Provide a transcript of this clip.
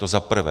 To za prvé.